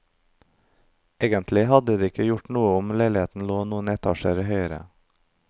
Egentlig hadde det ikke gjort noe om leiligheten lå noen etasjer høyere.